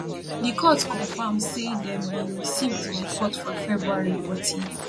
di court confam say dem bin receive di report for february but e